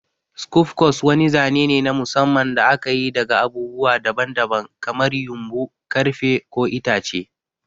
Skufcos wani zane ne na musamman da aka yi daga abubuwa daban-daban kamar ƴumbu, ƙarfe, ko itace.